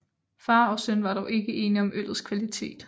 Far og søn var dog ikke enige om øllets kvalitet